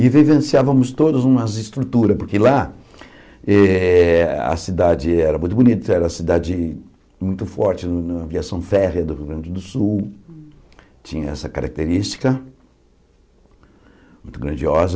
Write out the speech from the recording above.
E vivenciávamos todas umas estruturas, porque lá eh a cidade era muito bonita, era uma cidade muito forte, no no na aviação férrea do Rio Grande do Sul, tinha essa característica muito grandiosa.